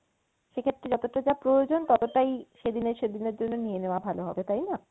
সেক্ষেত্রে যতটা যা প্রয়োজন ততোটাই সেদিনে সেদিনের জন্য নিয়ে নেওয়া ভালো হবে তাইনা?